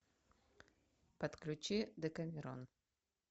подключи декамерон